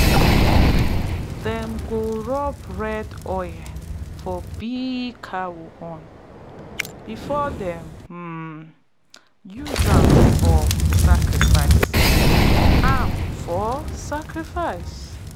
them go rub red colour for big cow horn before them um use am for sacrifice. am for sacrifice.